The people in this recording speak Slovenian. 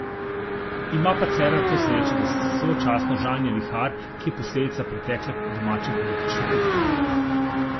Ima pa Cerar to srečo, da sočasno žanje vihar, ki je posledica pretekle domače politične kuhinje.